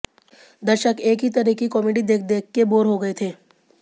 दर्शक एक ही तरह की कॉमेडी देख देख के बोर हो गए थे